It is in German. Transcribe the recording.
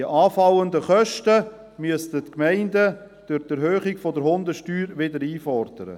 Die anfallenden Kosten müssten die Gemeinden durch Erhöhung der Hundesteuer wieder einfordern.